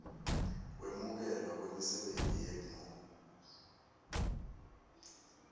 kwemukelwa kwemisebenti yegmo